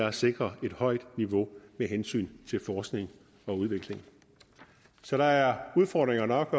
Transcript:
at sikre et højt niveau med hensyn til forskning og udvikling så der er udfordringer nok